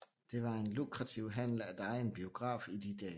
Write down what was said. Det var en lukrativ handel at eje en biograf i de dage